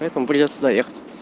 поэтому придётся доехать